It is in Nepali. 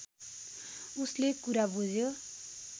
उसले कुरा बुझ्यो